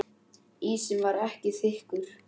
Ísinn var ekki þykkur.